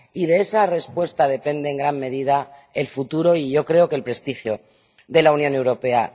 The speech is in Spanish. De esa respuesta depende en gran medida el futuro y yo creo que el prestigio de la Unión Europea.